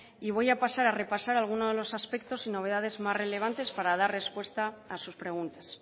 y voy a pasar a repasar alguno de los aspectos y novedades más relevantes para dar respuesta a sus preguntas